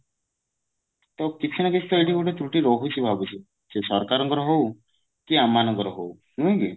ତ କିଛି ନା କିଛି ଏଇଠି ତ୍ରୁଟି ରହୁଛି ଭାବୁଛି ସେ ସରକାରଙ୍କର ହଉ କି ଆମ ମାନଙ୍କର ହଉ ନୁହେଁ କି